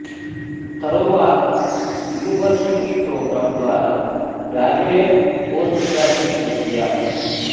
తరువాత university programme ద్వారా graduate post graduate విద్య